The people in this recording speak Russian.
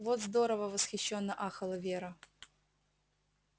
вот здорово восхищённо ахала вера